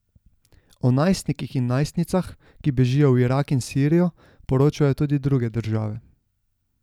O najstnikih in najstnicah, ki bežijo v Irak in Sirijo, poročajo tudi druge države.